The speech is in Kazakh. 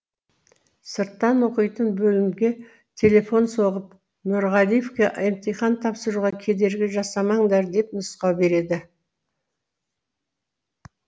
сырттан оқитын бөлімге телефон соғып нұрғалиевке емтихан тапсыруға кедергі жасамаңдар деп нұсқау береді